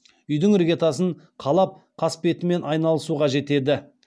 үи дің іргетасын қалап қасбетімен аи налысуға жетеді